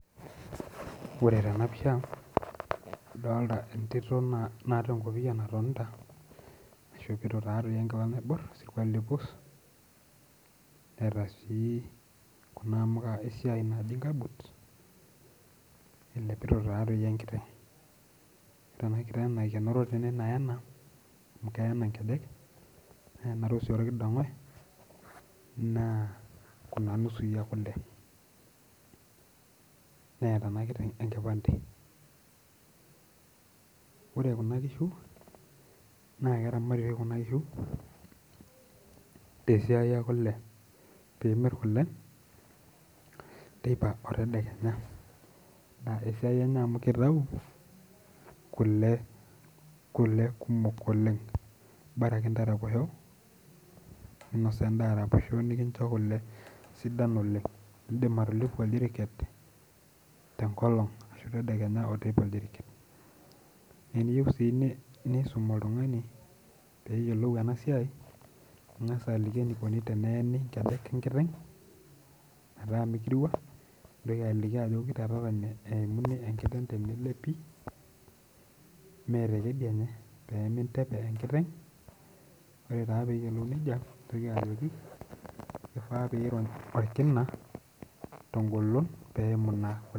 Ore tenapisha adolta entito natonta naishopito enkila naibor wesirkuali pus eeta Sii kuna amuka esiai naji kamputs ellepito enkiteng ore enakiteng naikenoro naena nkejek na keju orkidongoe na kuja nusui ekule neeta enkiteng enkipande ore kuna kishu na keramati na tesia enye amu kitau kule kumok oleng bora akeyie ntaraposho ntau aitobiraki nikincho kule sidan oleng indim atelepu orjiriket ashu tedekenya orjiriket na eniyieu nisum oltungai peyiolou enasiai ningasa aliki eniko teneas enasia metaa mikirua ashu enkiteng tenelepi pemintepe enkiteng ore peyiolou ina neyiolou ajo kifaa pirony orkina tengolon peimu kule